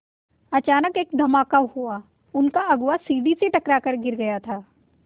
अचानक एक धमाका हुआ उनका अगुआ सीढ़ी से टकरा कर गिर गया था